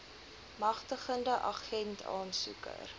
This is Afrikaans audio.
magtigende agent aansoeker